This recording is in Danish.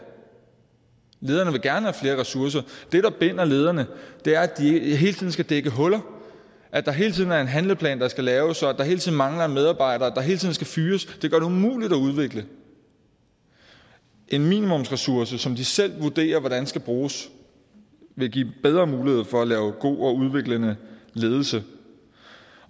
lederne vil gerne have flere ressourcer det der binder lederne er at de hele tiden skal dække huller at der hele tiden er en handleplan der skal laves at der hele tiden mangler en medarbejder og at der hele tiden skal fyres det gør det umuligt at udvikle en minimumsressource som de selv vurderer hvordan skal bruges vil give bedre mulighed for at lave god og udviklende ledelse